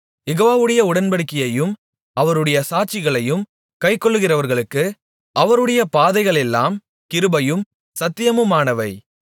யெகோவாவுடைய உடன்படிக்கையையும் அவருடைய சாட்சிகளையும் கைக்கொள்ளுகிறவர்களுக்கு அவருடைய பாதைகளெல்லாம் கிருபையும் சத்தியமுமானவை